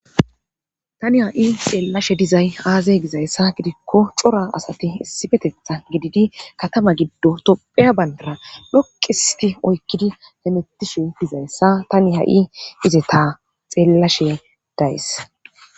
tani ha7i xeellashe dizay aazey gizayssa gidikko cora asati issifetetha gididi katama giddo topheya bayndara dhoqisiti oykkidi hemettishu dizayssa tani ha7i ize ta xeellashe days